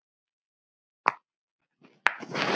Hann hefur þegar hafið störf.